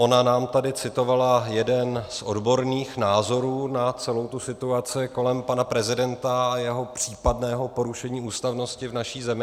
Ona nám tady citovala jeden z odborných názorů na celou tu situaci kolem pana prezidenta a jeho případného porušení ústavnosti v naší zemi.